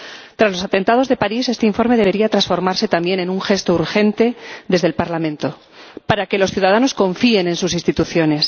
Tras los atentados de París, este informe debería transformarse también en un gesto urgente desde el Parlamento para que los ciudadanos confíen en sus instituciones.